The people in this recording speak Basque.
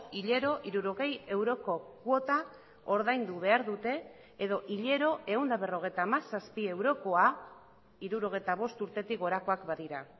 hilero hirurogei euroko kuota ordaindu behar dute edo hilero ehun eta berrogeita hamazazpi eurokoa hirurogeita bost urtetik gorakoak badira